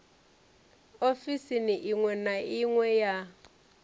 ofisini iṅwe na iṅwe ya